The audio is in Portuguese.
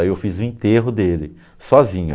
Aí eu fiz o enterro dele, sozinho.